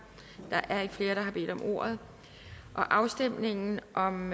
der er ikke flere der har bedt om ordet afstemningen om